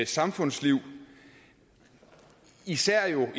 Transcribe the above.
samfundsliv især